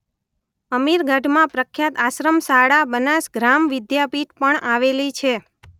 અમીરગઢમાં પ્રખ્યાત આશ્રમશાળા બનાસ ગ્રામવિદ્યાપીઠ પણ આવેલી છે.